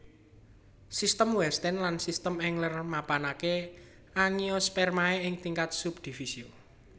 Sistem Wettstein lan Sistem Engler mapanaké Angiospermae ing tingkat subdivisio